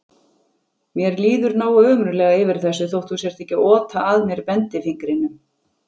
Mér líður nógu ömurlega yfir þessu þótt þú sért ekki að ota að mér bendifingrinum.